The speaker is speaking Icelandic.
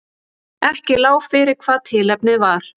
Ekki lá fyrir hvað tilefnið var